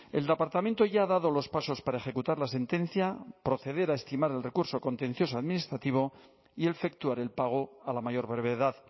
el departamento ya ha dado los pasos para ejecutar la sentencia proceder a estimar el recurso contencioso administrativo y efectuar el pago a la mayor brevedad